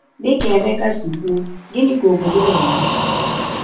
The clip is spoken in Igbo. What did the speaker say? Dị ka Emeka si kwuo, gịnị ka obodo na-eme?